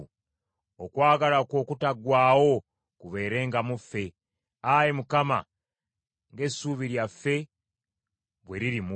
Okwagala kwo okutaggwaawo kubeerenga mu ffe, Ayi Mukama , ng’essuubi lyaffe bwe liri mu ggwe.